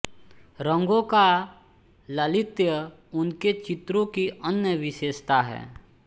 रंगों का लालित्य उनके चित्रों की अन्य विशेषता है